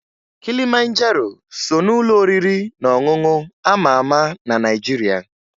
Kilimanjaro so n'ụlọ oriri na ọṅụṅụ a ma ama na Naịjiria